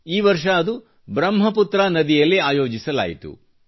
ಈ ವರ್ಷ ಅದು ಬ್ರಹ್ಮ ಪುತ್ರ ನದಿಯಲ್ಲಿ ಆಯೋಜಿಸಲಾಯಿತು